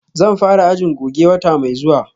Zan fara ajin goje wata mai zuwa